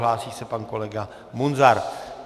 Hlásí se pan kolega Munzar.